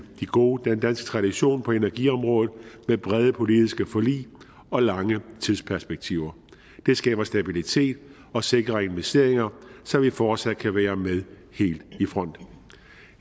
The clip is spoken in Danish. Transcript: gode danske tradition på energiområdet med brede politiske forlig og lange tidsperspektiver det skaber stabilitet og sikrer investeringer så vi fortsat kan være med helt i front